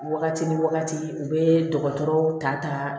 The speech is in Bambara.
Wagati ni wagati u bɛ dɔgɔtɔrɔw ta ta